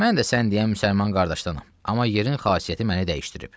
Mən də sən deyən müsəlman qardaşdanam, amma yerin xasiyyəti məni dəyişdirib.